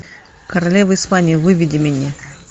королева испании выведи мне